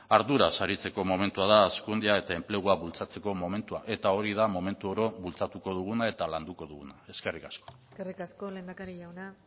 arduraz aritzeko momentua da hazkundea eta enplegua bultzatzeko momentua eta hori da momentu oro bultzatuko duguna eta landuko duguna eskerrik asko eskerrik asko lehendakari jauna